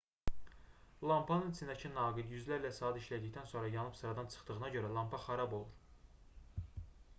lampanın içindəki naqil yüzlərlə saat işlədikdən sonra yanıb sıradan çıxdığına görə lampa xarab olur